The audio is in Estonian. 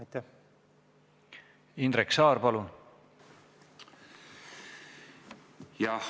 Indrek Saar, palun!